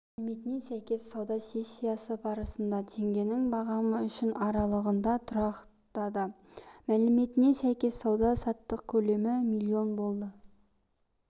мәліметіне сәйкес сауда сессиясы барысында теңгенің бағамы үшін аралығында тұрақтады мәліметіне сәйкес сауда-саттық көлемі миллион болды